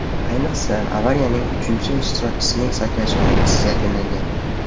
Ayniqsa, avariyaning uchinchi ishtirokchisining sakrashi omadsiz yakunlangan.